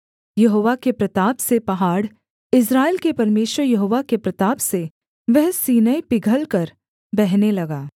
यहोवा के प्रताप से पहाड़ इस्राएल के परमेश्वर यहोवा के प्रताप से वह सीनै पिघलकर बहने लगा